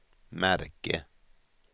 märke